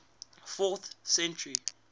fourth century